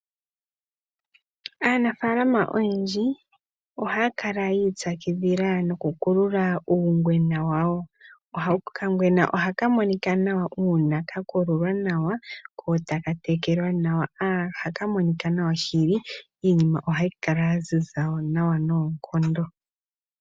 Aanafaalama oyendji ohaya kala yi ipyakidhila noku kulula uungwena wawo. Okangwena ohaka monika nawa uuna ka kululwa nawa, ko taka tekelwa nawa, ohaka monika nawa shili, iinima ohayi kala ya ziza nawa noonkondo.